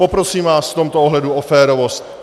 Poprosím vás v tomto ohledu o férovost.